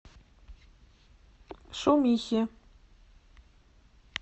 шумихе